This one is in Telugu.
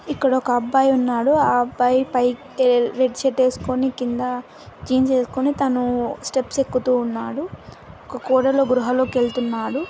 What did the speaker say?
ఇక్కడ ఒక అబ్బాయి ఉన్నాడు ఆ అబ్బాయి పైకి ఏ రెడ్ షర్ట్ వేసుకోని కింద జీన్స్ వేసుకోని తనూ స్టెప్స్ ఎక్కుతూ ఉన్నాడు కోటల గృహాలో కెళ్తున్నాడు.